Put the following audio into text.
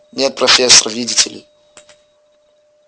нет профессор видите ли